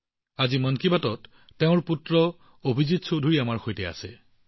আজি মন কী বাতত তেওঁৰ পুত্ৰ অভিজিত চৌধুৰী আমাৰ সৈতে আছে